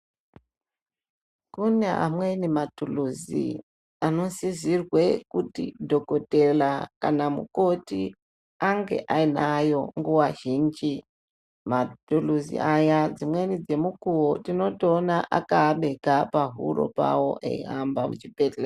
Kune amweni maturuzi anosisirwa kuti dhokodheya kana mukoti ange anayo nguwa zhinji maturuzi aya dzimweni dzenguwa nemukuwo tinoona akabekwa pahuro Pao eihamba muzvibhedhlera.